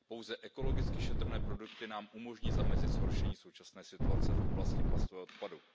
Pouze ekologicky šetrné produkty nám umožní zamezit zhoršení současné situace v oblasti plastového odpadu.